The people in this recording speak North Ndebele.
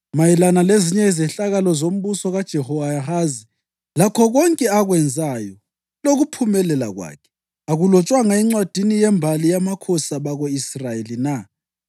Mayelana lezinye izehlakalo zombuso kaJehowahazi, lakho konke akwenzayo lokuphumelela kwakhe, akulotshwanga encwadini yembali yamakhosi abako-Israyeli na?